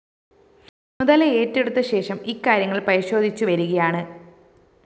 ചുമതലയേറ്റെടുത്ത ശേഷം ഇക്കാര്യങ്ങള്‍ പരിശോധിച്ചു വരികയാണ്